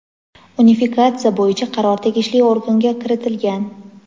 Unifikatsiya bo‘yicha qaror tegishli organga kiritilgan.